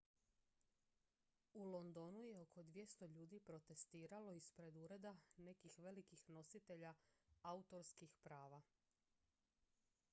u londonu je oko 200 ljudi protestiralo ispred ureda nekih velikih nositelja autorskih prava